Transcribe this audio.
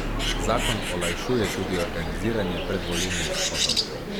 Zakon olajšuje tudi organiziranje predvolilnih shodov.